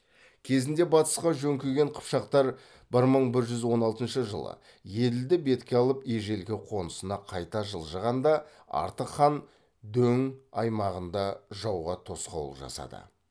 кезінде батысқа жөңкіген қыпшақтар бір мың бір жүз он алтыншы жылы еділді бетке алып ежелгі қонысына қайта жылжығанда артық хан дөң аймағында жауға тосқауыл жасады